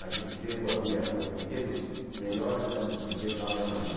Naquele tempo, havia os brinquedos melhores eram os brinquedos alemães.